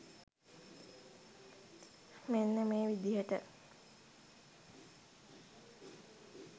මෙන්න මේ විදිහට